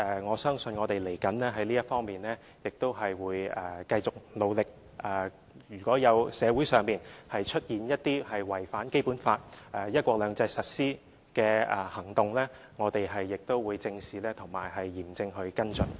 我相信將來在這方面我們也會繼續努力，如果社會上出現一些違反《基本法》和"一國兩制"實施的行動，我們也會正視及嚴正地跟進。